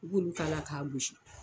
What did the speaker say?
I b'olu k'a la ka gosi.